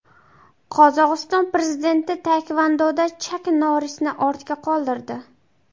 Qozog‘iston prezidenti taekvondoda Chak Norrisni ortda qoldirdi.